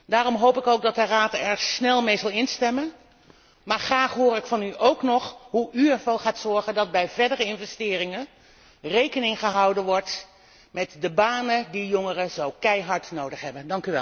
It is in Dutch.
Daarom hoop ik ook dat de Raad er snel mee zal instemmen, maar graag hoor ik van u ook nog hoe u ervoor gaat zorgen dat bij verdere investeringen rekening gehouden wordt met de banen die jongeren zo keihard nodig hebben.